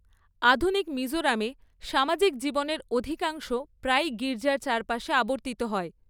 আধুনিক মিজোরামে সামাজিক জীবনের অধিকাংশ প্রায়ই গির্জার চারপাশে আবর্তিত হয়।